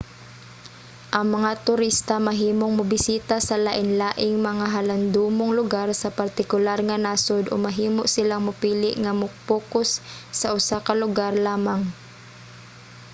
ang mga turista mahimong mobisita sa lainlaing mga halandomong lugar sa partikular nga nasod o mahimo silang mopili nga mo-pokus sa usa ka lugar lamang